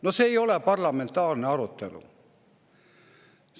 " No see ei ole parlamentaarne arutelu!